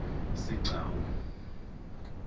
sigcawu